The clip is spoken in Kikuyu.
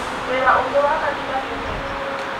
wĩra ũngĩ wa kanitha ũteti-inĩ